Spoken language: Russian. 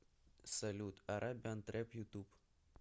салют арабиан трэп ютуб